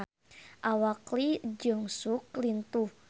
Awak Lee Jeong Suk lintuh